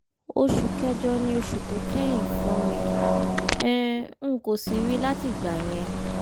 oṣù kẹjọ ni oṣù tó kẹ̀yìn fún mi um n kò sì rí i látìgbà yẹn